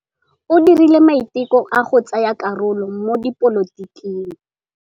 O dirile maitekô a go tsaya karolo mo dipolotiking.